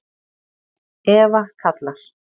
Eva kallar.